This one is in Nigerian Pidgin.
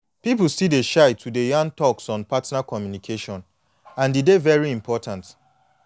people still dey shy to dey yan talks on partner communication and e dey very important